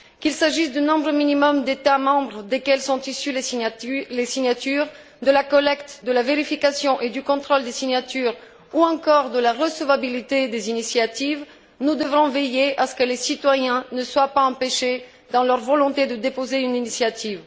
Qu'il s'agisse du nombre minimum d'États membres dont sont issues les signatures, de la collecte, de la vérification et du contrôle des signatures ou encore de la recevabilité des initiatives, nous devrons veiller à ce que les citoyens ne soient pas empêchés dans leur volonté de déposer une initiative.